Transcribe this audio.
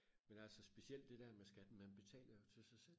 men altså specielt det der med skat man betaler jo til sig selv